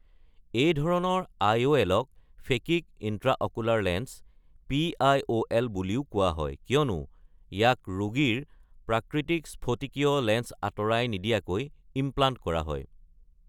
এই ধৰণৰ I O এলক phakic intraocular lens (P I. O L) বুলিও কোৱা হয়, কিয়নো ইয়াক ৰোগীৰ প্ৰাকৃতিক স্ফটিকীয় লেন্স আঁতৰাই নিদিয়াকৈ ইমপ্লাণ্ট কৰা হয়।